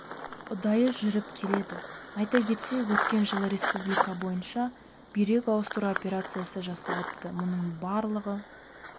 ұдайы жүріп келеді айта кетсек өткен жылы республика бойынша бүйрек ауыстыру операциясы жасалыпты мұның барлығы